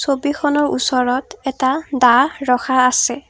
ছবিখনৰ ওচৰত এটা দা ৰখা আছে।